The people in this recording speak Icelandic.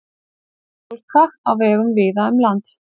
Hálka á vegum víða um land